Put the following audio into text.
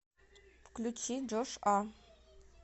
включи джош а